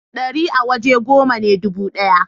dari a waje goma ne dubu daya